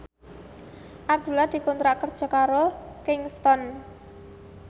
Abdullah dikontrak kerja karo Kingston